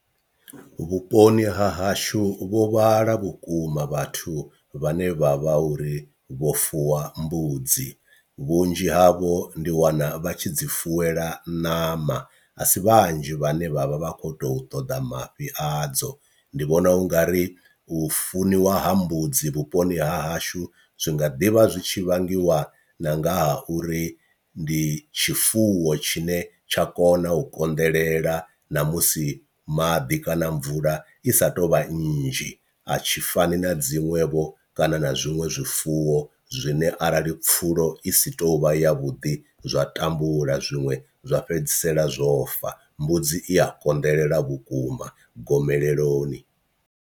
Vhuponi ha hashu vho vhala vhukuma vhathu vhane vha vha uri vho fuwa mbudzi, vhunzhi havho ndi wana vha tshi dzi fuwelwa ṋama a si vhanzhi vhane vhavha vha kho to ṱoḓa mafhi adzo, ndi vhona ungari u funiwa ha mbudzi vhuponi ha hashu zwi nga ḓivha zwi tshi vhangiwa na nga ha uri ndi tshifuwo tshine tsha kona u konḓelela ṋamusi maḓi kana mvula i sa tu vha nnzhi, a tshi fani na dziṅwevho kana na zwiṅwe zwifuwo zwine arali pfulo i si tovha ya vhuḓi zwa tambula zwiṅwe zwa fhedzisela zwo fa, mbudzi i a konḓelela vhukuma gomeleloni.